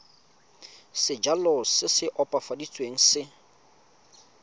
sejalo se se opafaditsweng se